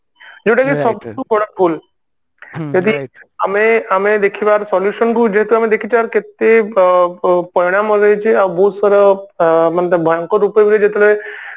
ଯୋଉଟା କି ସବୁଠୁ ବଡ ଭୁଲ ଯଦି ଆମେ ଅ ଆମେ ଦେଖିବା ୟାର solution କୁ ଯେହେତୁ ଆମେ ଦେଖିଛେ ୟାର କେତେ ବ ପ ପରିଣାମ ଆଉ ବହୁତ ସାରା ଅ ତାର ଭୟଙ୍କର ରୂପ ବି ଯେତେବେଳେ